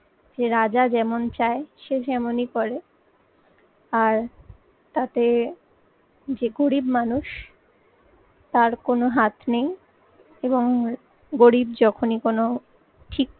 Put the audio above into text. যে রাজা যেমন চায় সে তেমনই করে আর তাতে যে গরিব মানুষ তার কোনো হাত নেই এবং গরিব যখনই কোনো ঠিক